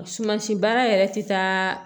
Sumasi baara yɛrɛ ti taa